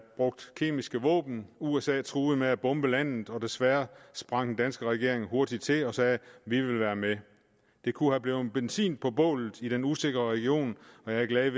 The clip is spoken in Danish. brugt kemiske våben usa truede med at bombe landet og desværre sprang den danske regering hurtig til og sagde vi vil være med det kunne være blevet benzin på bålet i den usikre region og jeg er glad